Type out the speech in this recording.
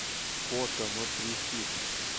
фото нутрифит